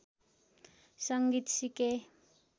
संगीत सिके